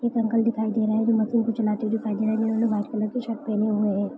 एक अंकल दिखाई दे रहे है जो मशीन को चलाते हुए दिखाई दे रहे है। जिन्होंने व्हाइट कलर की शर्ट पहनी हुई है।